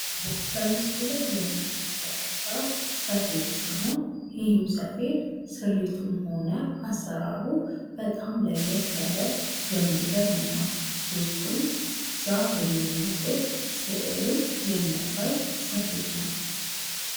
በምስሉ ላይ የምንመለከተው ሰፌድ ሲሆን ይህም ሰፌድ ስሪቱም ሆነ አሰራሩ በጣም ለየት ያለ የሚገርም ነው። ውስጡም ዛፍ የሚመስል ስዕልን የሚያሳይ ሰፌድ ነው።